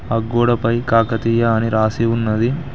ఆ గోడ పై కాకతీయ అని రాసి ఉన్నది.